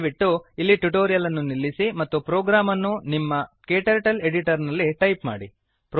ದಯವಿಟ್ಟು ಇಲ್ಲಿ ಟ್ಯುಟೋರಿಯಲ್ ಅನ್ನು ನಿಲ್ಲಿಸಿ ಮತ್ತು ಪ್ರೋಗ್ರಾಮ್ ಅನ್ನು ನಿಮ್ಮ ಕ್ಟರ್ಟಲ್ ಎಡಿಟರ್ ನಲ್ಲಿ ಟೈಪ್ ಮಾಡಿ